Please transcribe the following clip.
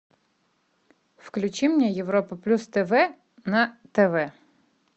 включи мне европа плюс тв на тв